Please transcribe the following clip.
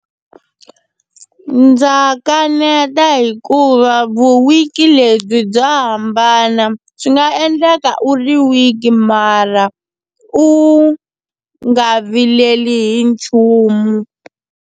Ndza kaneta hikuva vu-weak-i lebyi bya hambana, swi nga endleka u ri weak mara u nga vileli hi nchumu.